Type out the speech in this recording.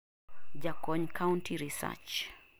jakony Country Research